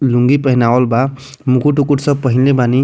लुंगी पहनावल बा मुकुट-उकुट सब पहेन्ने बानी।